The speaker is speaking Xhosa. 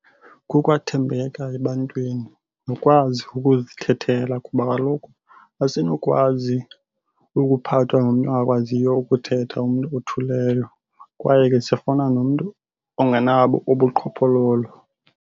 Kukwathembeka ebantwini nokwazi ukuzikhethela kuba kaloku asinokwazi ukuphathwa ngumntu ongakwaziyo ukuthetha umntu othuleyo. Kwaye ke sifuna nomntu ongenabo ubuqhophololo